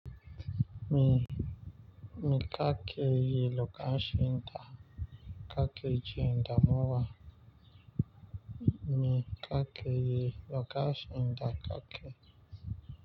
Mi, mi kakeyi lokacin da kake jin, damuwa. Mi ka ke yi lokacin da ka ke.